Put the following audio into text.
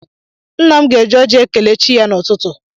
Nna m ga-eji oji ekele chi ya n'ụtụtụ.